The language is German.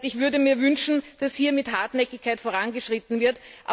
Das heißt, ich würde mir wünschen, dass hier mit Hartnäckigkeit vorangeschritten wird.